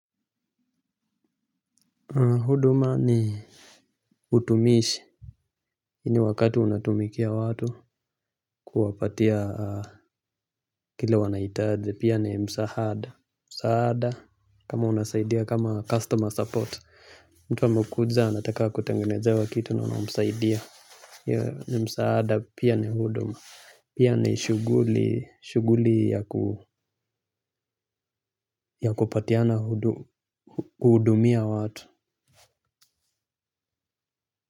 Huduma ni utumishi ile wakati unatumikia watu kuwapatia kile wanaitaaji pia ni msahada. Msaada kama unasaidia kama customer support mtu amekuja anataka kutengenezewa kitu na unamsaidia. Hiyo ni msaada pia ni huduma pia ni shughuli shughuli ya ku ya kupatiana hudu hudumia watu.